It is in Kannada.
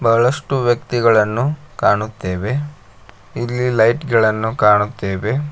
ಬಹಳಷ್ಟು ವ್ಯಕ್ತಿಗಳನ್ನು ಕಾಣುತ್ತೇವೆ ಇಲ್ಲಿ ಲೈಟ್ಗಳ ನ್ನು ಕಾಣುತ್ತೇವೆ.